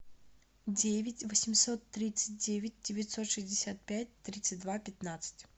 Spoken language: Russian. девять восемьсот тридцать девять девятьсот шестьдесят пять тридцать два пятнадцать